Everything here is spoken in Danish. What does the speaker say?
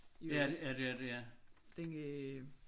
I øvrigt den øh